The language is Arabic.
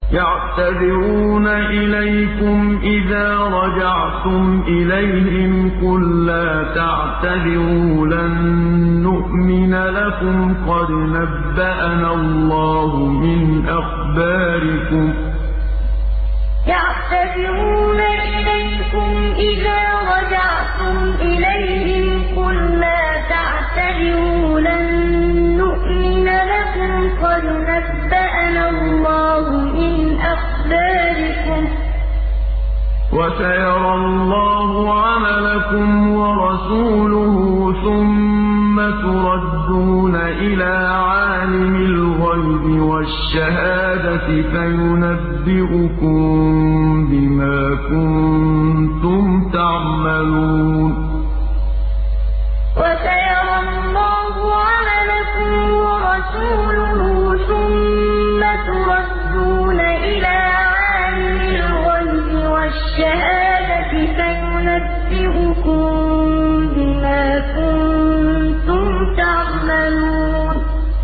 يَعْتَذِرُونَ إِلَيْكُمْ إِذَا رَجَعْتُمْ إِلَيْهِمْ ۚ قُل لَّا تَعْتَذِرُوا لَن نُّؤْمِنَ لَكُمْ قَدْ نَبَّأَنَا اللَّهُ مِنْ أَخْبَارِكُمْ ۚ وَسَيَرَى اللَّهُ عَمَلَكُمْ وَرَسُولُهُ ثُمَّ تُرَدُّونَ إِلَىٰ عَالِمِ الْغَيْبِ وَالشَّهَادَةِ فَيُنَبِّئُكُم بِمَا كُنتُمْ تَعْمَلُونَ يَعْتَذِرُونَ إِلَيْكُمْ إِذَا رَجَعْتُمْ إِلَيْهِمْ ۚ قُل لَّا تَعْتَذِرُوا لَن نُّؤْمِنَ لَكُمْ قَدْ نَبَّأَنَا اللَّهُ مِنْ أَخْبَارِكُمْ ۚ وَسَيَرَى اللَّهُ عَمَلَكُمْ وَرَسُولُهُ ثُمَّ تُرَدُّونَ إِلَىٰ عَالِمِ الْغَيْبِ وَالشَّهَادَةِ فَيُنَبِّئُكُم بِمَا كُنتُمْ تَعْمَلُونَ